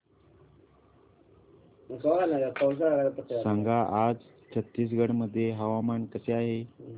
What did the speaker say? सांगा आज छत्तीसगड मध्ये हवामान कसे आहे